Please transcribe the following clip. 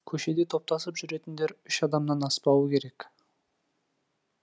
көшеде топтасып жүретіндер үш адамнан аспауы керек